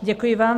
Děkuji vám.